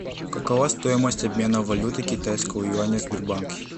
какова стоимость обмена валюты китайского юаня в сбербанке